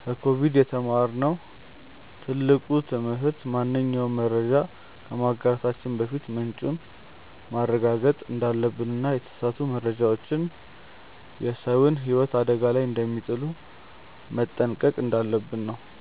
ከኮቪድ የተማርነው ትልቁ ትምህርት ማንኛውንም መረጃ ከማጋራታችን በፊት ምንጩን ማረጋገጥ እንዳለብንና የተሳሳቱ መረጃዎች የሰውን ህይወት አደጋ ላይ ስለሚጥሉ መጠንቀቅ እንዳለብን ነው።